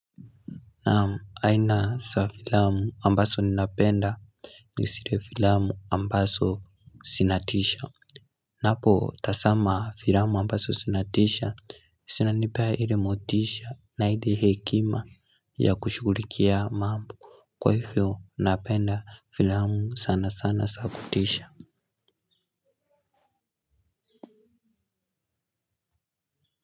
Naam aina za filamu ambazo ninapenda ni zile filamu ambazo zinatisha ninapo tazama filamu ambazo zinatisha zinanipea ile motisha na ile hekima ya kushughulikia mambo kwa hivyo napenda filamu sana sana za kutisha. Kwa hivyo.